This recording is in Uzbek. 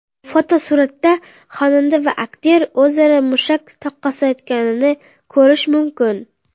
Fotosuratda xonanda va aktyor o‘zaro mushak taqqoslayotganini ko‘rish mumkin.